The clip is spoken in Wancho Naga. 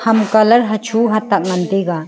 ham colour hacho hatak ngan taiga